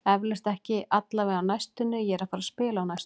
Eflaust, ekki allavega á næstunni, ég er ekki að fara að spila á næstunni.